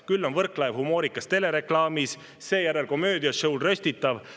Küll on Võrklaev humoorikas telereklaamis, seejärel komöödia-show's röstitav.